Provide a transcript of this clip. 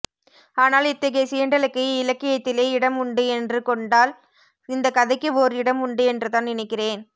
ஆனால் இத்தகைய சீண்டலுக்கு இலக்கியத்திலே இடம் உண்டு என்று கொண்டால் இந்த கதைக்கு ஓர் இடம் உண்டு என்றுதான் நினைக்கிறேன்